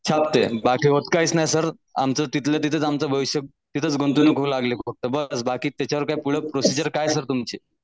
छापते बाकी होता नाही सर आमचं तिथल्या तिथंच आमचं भविष्य तिथंच गुंतून घोळ लागलाय फक्त बस बाकी तिझ्यावर काय पुढं प्रोसिजर काय सर तुमची?